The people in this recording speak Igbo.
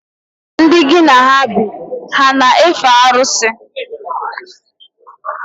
Ndị ngi na ha bi, ha ana efe arusi?